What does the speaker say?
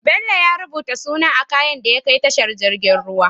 Bello ya rubuta suna a kayan da ya kai tashar jirgin ruwa